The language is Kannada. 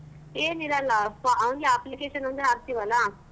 ಏನಿರಲ್ಲ ಫ~ only application ಒಂದೇ ಹಾಕ್ತಿವಲ್ಲ.